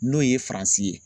N'o ye MALI ye.